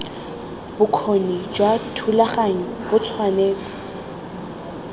bokgoni jwa thulaganyo bo tshwanetse